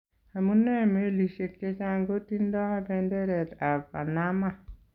Amunee meliisyek chechang kotindo benderet ab Panama?